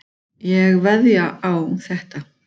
Ég veðjaði á þetta.